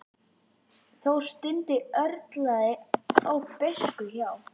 Þó stundum örlaði á beiskju hjá